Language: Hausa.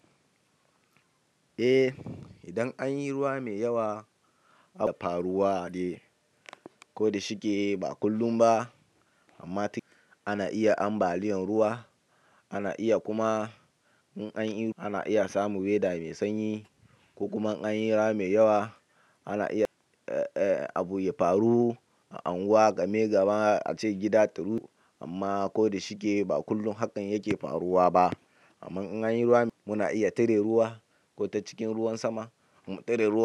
Eh, idan an yi ruwa mai yawa, abu yana faruwa ne. Ko da shike ba kullum ba, amma ana iya ambaliyan ruwa. Ana iya kuma in an yi, ana iya samun wether mai sanyi ko kuma an yi ruwa mai yawa, ana iya abu ya faru. An yi wa game gaba a cikin gida taru, amma ko da shike ba kullum hakan yake faruwa ba. Amma in an yi ruwa, muna iya tare ruwa ko ta cikin ruwan sama. Mu tare ruwa.